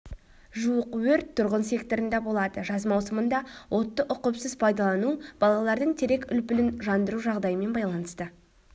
жуық өрт тұрғын секторында болады жаз маусымында отты ұқыпсыз пайдалану балалардың терек үлпілін жандыру жағдайымен байланысты